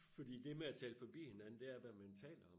Fordi det med at tale forbi hinanden det er hvad man taler om